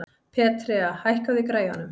Petrea, hækkaðu í græjunum.